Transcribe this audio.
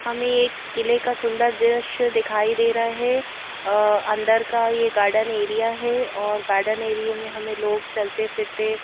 हमें एक किले का सुंदर दृश्य दिखाई दे रहा है अंदर का ये गार्डन एरिया है और गार्डन एरिया में हमें लोग चलते फिरते --